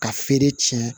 Ka feere tiɲɛ